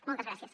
moltes gràcies